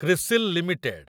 CRISIL limited